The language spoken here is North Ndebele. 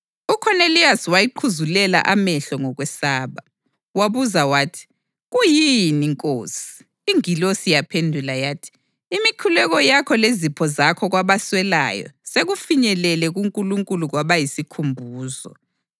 UKhoneliyasi wayiqhuzulela amehlo ngokwesaba. Wabuza wathi, “Kuyini, Nkosi?” Ingilosi yaphendula yathi, “Imikhuleko yakho lezipho zakho kwabaswelayo sekufinyelele kuNkulunkulu kwaba yisikhumbuzo.